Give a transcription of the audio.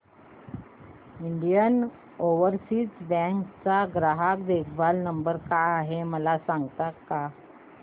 Indian Overseas bank चा ग्राहक देखभाल नंबर काय आहे मला सांगता का